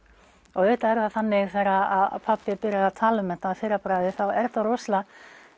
og auðvitað er það þannig þegar pabbi byrjar að tala um þetta að fyrra bragði þá er þetta rosalega